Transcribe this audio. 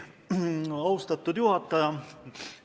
Austatud juhataja!